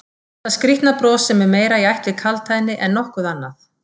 Þetta skrýtna bros sem er meira í ætt við kaldhæðni en nokkuð annað?